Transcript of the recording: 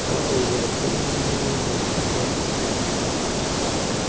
laolwa ke molao wa setso